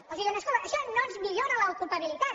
ens diuen escolta això no ens millora l’ocupabilitat